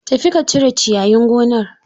Tafi ka cire ciyayin gonar.